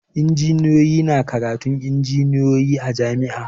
Injiniya na karatun injiniyoyi a jam'i